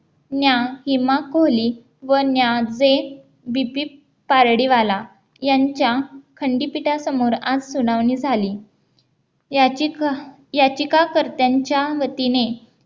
ज्ञान हिमाकोली, व ज्ञानदेव, बीपी पारडी वाला, यांच्या खंडीपिटासमोर आज सुनावणी झाली याची याचिका याचिकाकर्त्यांच्या वतीने